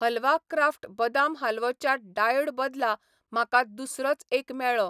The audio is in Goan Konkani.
हलवा क्राफ्ट बदाम हालवो च्या डायोउ बदला म्हाका दुसरोच एक मेळ्ळो.